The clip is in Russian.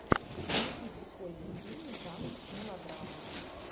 найди прикольный фильм жанр мелодрама